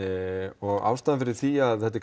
og ástæðan fyrir því að þetta er